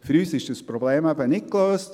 Für uns ist das Problem eben nicht gelöst.